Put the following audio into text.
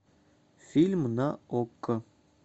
фильм на окко